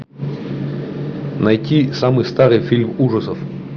найти самый старый фильм ужасов